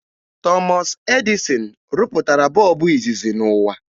Thomas Edison rụpụtara bọọbụ izizi n'ụwa